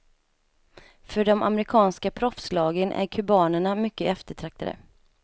För de amerikanska proffslagen är kubanerna mycket eftertraktade.